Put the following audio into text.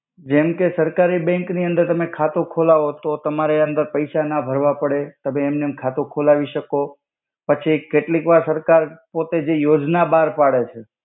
જેમ કે સરકારી બેંક નિ અંદર તમે ખાતુ ખોલાવો તો તમારે અંદર પૈસા ના ભર્વા પડે. તમે એમનેમ ખાતુ ખોલવી સકો પછી કેટલિક વાર સરકાર પોતે જે યોજ્ના બાર પાડે છે.